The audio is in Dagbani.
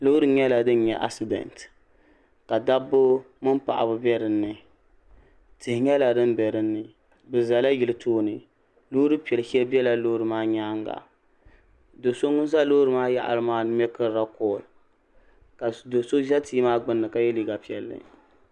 Loori nyɛla din nye asidɛnti ka dabba mini paɣaba be dinni tihi nyɛla din be dinni bɛ zala yili tooni loori piɛli shɛli bela loori maa nyaanga doso ŋun za loori maa yaɣara maani miekiri la kɔli ka doso za tia maa gbinni ka ye liiga piɛlli.